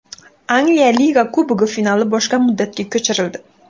Angliya Liga Kubogi finali boshqa muddatga ko‘chirildi.